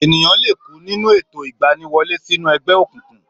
Ènìyàn lè kú nínú ètò ìgbaniwọlé sínú ẹgbẹ́ òkùnkùn